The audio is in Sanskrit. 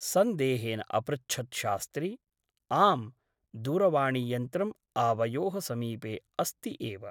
सन्देहेन अपृच्छत् शास्त्री । आम् । दूरवाणीयन्त्रम् आवयोः समीपे अस्ति एव ।